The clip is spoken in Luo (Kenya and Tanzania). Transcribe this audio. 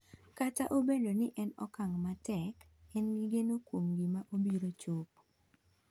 Kata obedo ni en okang' matek, en gi geno kuom gima obiro chopo.